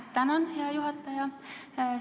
Tänan, hea juhataja!